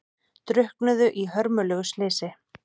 Drukknuðu í hörmulegu slysi